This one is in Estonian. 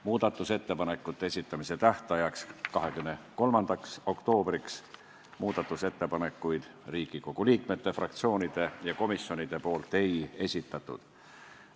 Muudatusettepanekute esitamise tähtajaks, 23. oktoobriks muudatusettepanekuid Riigikogu liikmed, fraktsioonid ega komisjonid ei esitanud.